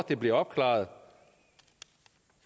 det bliver opklaret